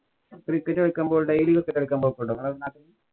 cricket കളിക്കുമ്പോള്‍ daily cricket കളിയ്ക്കാന്‍ പോക്കൊണ്ട നിങ്ങടെ നാട്ടില്.